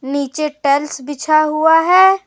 नीचे टाइल्स बिछा हुआ है।